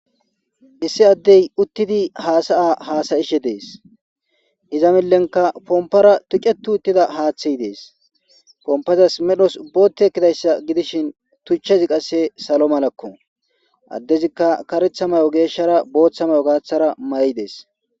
issi addey uttidi haasaya haasayishe dees iza millenka pompara tucetu uttida haaththeyi dees pompazas medhos bootte ekkidayssa gidishin tuchchezi qasse salo malakko addezikka karetha may7o geeshshara booththa mayo gaaththara may7i dees